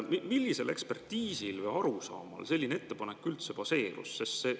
Millisel ekspertiisil või arusaamal selline ettepanek üldse baseerus?